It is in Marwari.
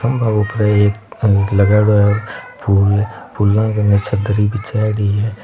थम्बा ऊपर एक अ लगायोडो है फूल फुला के नीचे दरी बिछायोडी है।